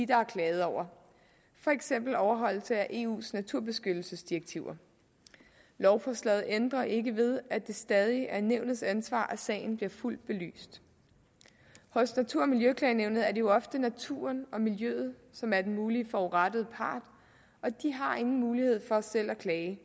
der er klaget over for eksempel overholdelse af eus naturbeskyttelsesdirektiver lovforslaget ændrer ikke ved at det stadig er nævnets ansvar at sagen bliver fuldt belyst hos natur og miljøklagenævnet er det jo ofte naturen og miljøet som er den mulige forurettede part og de har ingen mulighed for selv at klage